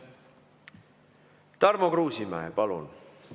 Tarmo Kruusimäe, palun!